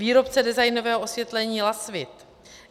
Výrobce designového osvětlení Lasvit.